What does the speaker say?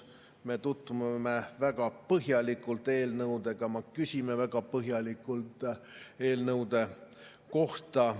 Me tutvume väga põhjalikult eelnõudega, me küsime väga põhjalikult eelnõude kohta.